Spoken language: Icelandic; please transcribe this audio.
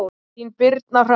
Þín Birna Hrönn.